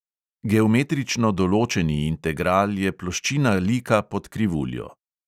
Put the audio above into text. Geometrično določeni integral je ploščina lika pod krivuljo.